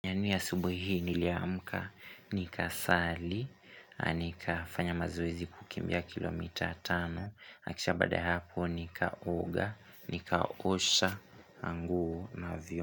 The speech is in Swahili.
Yani asubuhi hii niliamka nika sali, nika fanya mazoezi kukimbia kilomita atano, akisha baada ya hapo nika oga, nika osha anguo na vyo.